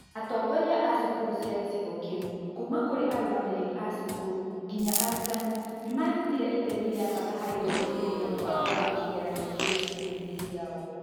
Atongoria a thukuru cia gĩcigo kĩu, kuuma kũrĩ arũngamĩri a cukuru nginya arutani, nĩ maarutire itemi rĩa bata harĩ gũteithĩrĩria mũbango wa kĩgeranio kĩu cukuru-inĩ ciao